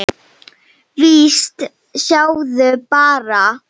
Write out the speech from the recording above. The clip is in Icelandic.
Víst, sjáðu bara!